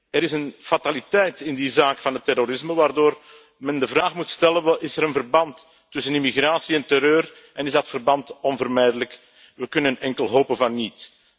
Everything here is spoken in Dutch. Er is een fataliteit in die zaak van het terrorisme waardoor men de vraag moet stellen of er een verband is tussen immigratie en terreur en of dat verband onvermijdelijk is. We kunnen enkel hopen van niet.